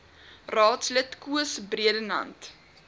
raadslid koos bredenhand